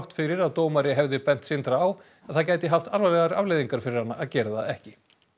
fyrir að dómari hefði bent Sindra á að það gæti haft alvarlegar afleiðingar fyrir hann að gera það ekki